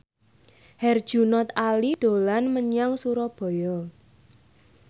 Herjunot Ali dolan menyang Surabaya